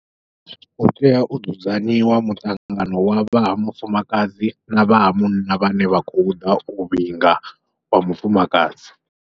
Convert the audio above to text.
U tea u dzudzanyiwa muṱangano wa vha ha mufumakadzi na vha ha munna vhane vha khou ḓa u vhinga wa mufumakadzi.